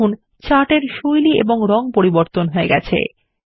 দেখুন চার্ট এর শৈলী এবং রং পরিবর্তন হয়ে গেছে